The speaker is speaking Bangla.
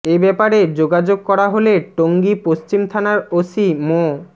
এ ব্যাপারে যোগাযোগ করা হলে টঙ্গী পশ্চিম থানার ওসি মো